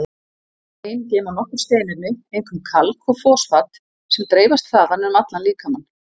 Bein geyma nokkur steinefni, einkum kalk og fosfat, sem dreifast þaðan um allan líkamann.